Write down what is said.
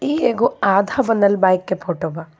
ई एगो आधा बनल बाइक के फोटो बा.